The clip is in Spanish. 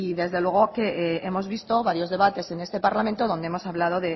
desde luego hemos visto varios debates en este parlamento donde hemos hablado